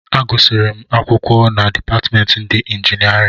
Agụsịrị m akwụkwọ na dipatịmentị ndị injinịarịn